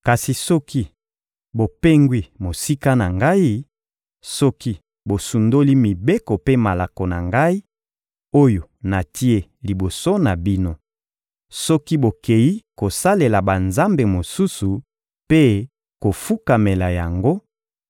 Kasi soki bopengwi mosika na Ngai, soki bosundoli mibeko mpe malako na Ngai, oyo natie liboso na bino; soki bokeyi kosalela banzambe mosusu mpe kofukamela yango,